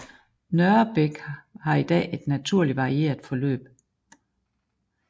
Nørrebæk har i dag et naturligt varieret forløb